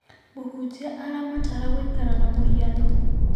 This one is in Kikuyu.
Mũhunjia aramatara gũikara na mũhiano.